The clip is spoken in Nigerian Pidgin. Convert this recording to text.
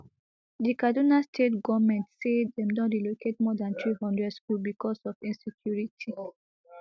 di kaduna state goment say dem don relocate more dan three hundred schools becos of insecurity